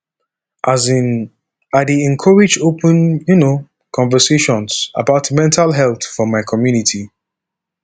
um i dey encourage open um conversations about mental health for my community